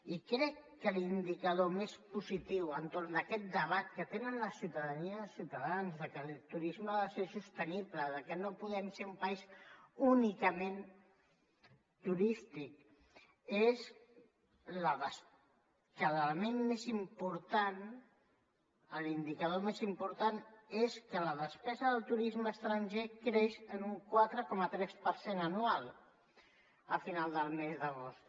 i crec que l’indicador més positiu entorn d’aquest debat que tenen la ciutadania i els ciutadans de que el turisme ha de ser sostenible de que no podem ser un país únicament turístic l’element més important l’indicador més important és que la despesa del turisme estranger creix en un quatre coma tres per cent anual a final del mes d’agost